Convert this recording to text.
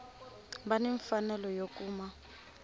va ni mfanelo yo kuma